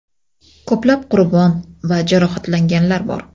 Ko‘plab qurbon va jarohatlanganlar bor.